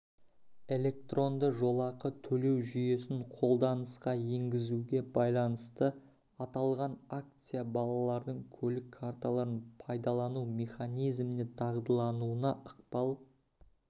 электронды жолақы төлеу жүйесін қолданысқа енгізуге байланысты аталған акция балалардың көлік карталарын пайдалану механизміне дағдылануына ықпал